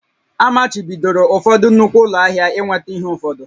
Amachibidoro ụfọdụ nnukwu ụlọ ahịa ị nweta ihe ụfọdụ